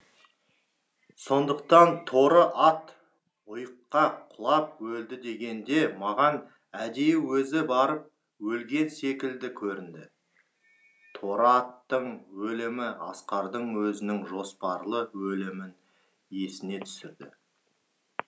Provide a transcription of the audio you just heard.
сондықтан торы ат ұйыққа құлап өлді дегенде маған әдейі өзі барып өлген секілді көрінді торы аттың өлімі асқардың өзінің жоспарлы өлімін есіне түсірді